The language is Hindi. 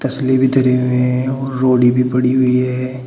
तस्ले भी धरे हुए हैं और रोड़ी भी पड़ी हुई है।